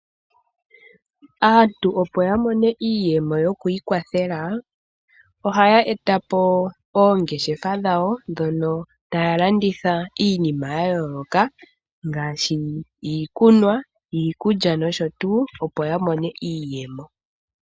Aantu opo yamone iiyemo yo kwiikwathela oha yeta po oongeshefa dhawo dhono taya landitha iinima ya yoloka ngaashi iikunwa, iikulya nosho tuu opo yamone mo iiyemo.